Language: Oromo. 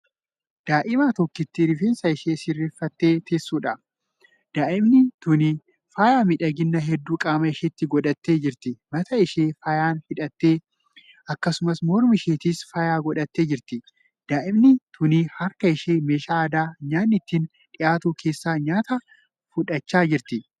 Daa'ima tokkittii rifeensa ishee sirreeffaattee teessudha. daa'imni tuni faaya miidhaginaa hedduu qaama isheetti godhattee jirti. mataa ishee faayaan hidhattee, akkasumas morma isheettis faaya godhattee jirti. daa'imni tuni harka ishee meeshaa aadaa nyaanni ittiin dhiyaatu keessaa nyaata fudhachaa jirti.